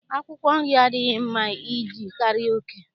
Akwụkwọ nri adịghị mma iyekarị oke